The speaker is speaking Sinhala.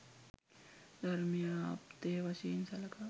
ධර්මය ආප්තය වශයෙන් සළකා